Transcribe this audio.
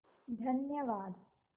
धन्यवाद